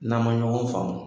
N'an ma ɲɔgɔn faamu